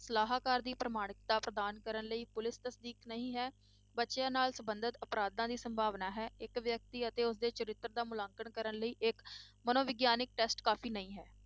ਸਲਾਹਕਾਰ ਦੀ ਪ੍ਰਮਾਣਿਕਤਾ ਪ੍ਰਦਾਨ ਕਰਨ ਲਈ ਪੁਲਿਸ ਤਸਦੀਕ ਨਹੀਂ ਹੈ, ਬੱਚਿਆਂ ਨਾਲ ਸੰਬੰਧਿਤ ਅਪਰਾਧਾਂ ਦੀ ਸੰਭਾਵਨਾ ਹੈ, ਇੱਕ ਵਿਅਕਤੀ ਅਤੇ ਉਸ ਦੇ ਚਰਿੱਤਰ ਦਾ ਮੁਲਾਂਕਣ ਕਰਨ ਲਈ ਇੱਕ ਮਨੋਵਿਗਿਆਨਕ test ਕਾਫ਼ੀ ਨਹੀਂ ਹੈ।